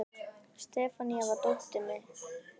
Sefanía, hvar er dótið mitt?